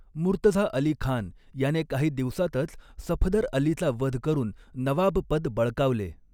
मुर्तझा अलीखान याने काही दिवसातच सफदरअलीचा वध करून नवाबपद बळकावले.